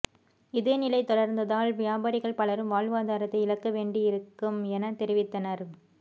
இதே நிலை தொடர்ந்தால் வியாபாரிகள் பலரும் வாழ்வாதாரத்தை இழக்க வேண்டி இருக்கம் என தெரிவித்தனர்